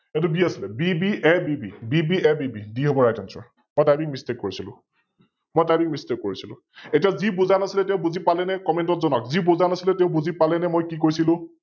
এইতো B আছিলে BBABBABB, B হব RightAnswer ।মই TypingMistake কৰিছিলো । এতিয়া যি বুজা নাছিলে তেও বুজি পালেনে? Comment ত জনাওক? যি বুজা নাছিলে তেও বুজি পালেনে নে মই কি কৈছিলো?